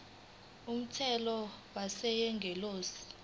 kumthetho wentela yengeniso